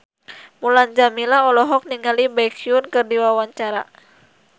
Mulan Jameela olohok ningali Baekhyun keur diwawancara